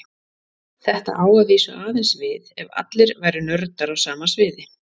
Þetta á að vísu aðeins við ef allir væru nördar á sama sviði.